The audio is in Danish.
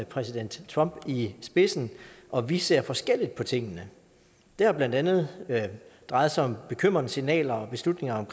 præsident trump i spidsen og vi ser forskelligt på tingene det har blandt andet drejet sig om bekymrende signaler og beslutninger